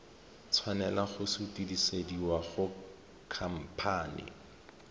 tshwanela go sutisediwa go khamphane